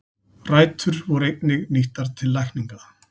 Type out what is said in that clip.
Rætur voru einnig nýttar til lækninga.